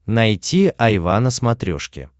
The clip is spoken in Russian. найти айва на смотрешке